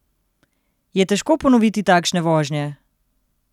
Je težko ponoviti takšne vožnje?